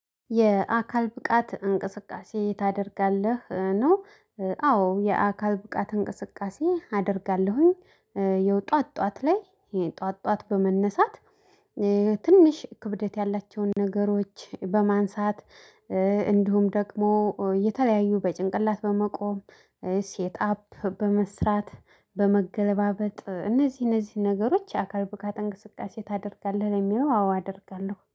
የአካል ብቃት እንቅስቃሴ ታደርጋለህ ነው? አዎ የአካል ብቃት እንቅስቃሴ አደርጋለሁኝ። ያው ጠዋት ጠዋት ላይ ጠዋት ጠዋት በመነሳት። ትንሽ ክብደት ያላቸውን ነገሮች በማንሳት። እንዲሁም ደግሞ የተለያዩ በጭንቅላት በመቆም ሴት አፕ በመስራት። በመገለባበጥ እነዚህ እነዚህ ነገሮች አካል ብቃት እንቅስቃሴ ታደርጋለህ ለሚለው አዎ አደርጋለሁ